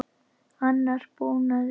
Annar búnaður sé á áætlun.